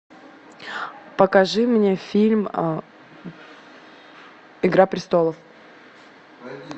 покажи мне фильм игра престолов